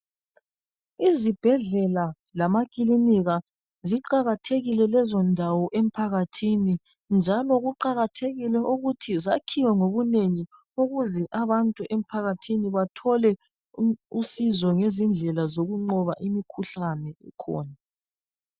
Izibhedlela lamakilinika ziqakathekile lezondawo emphakathini njalo kuqakathekile ukuthi zakhiwe ngobunengi ukuze abantu emphakathini bathole usizo ngezindlela zokunqoba imikhuhlane khona